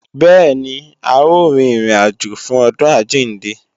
Bẹ́ẹ̀ni, a ó rin ìrìn àjò fún ọdún àjíǹde